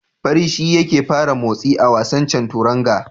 Fari shi yake fara motsi a wasan Chanturanga.